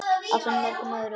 ásamt mörgum öðrum.